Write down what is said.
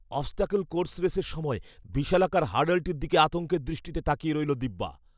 Obstacle course রেসের সময় বিশালাকার হার্ডলটির দিকে আতঙ্কের দৃষ্টিতে তাকিয়ে রইলো দিব্যা।